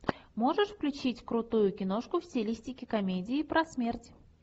можешь включить крутую киношку в стилистике комедии про смерть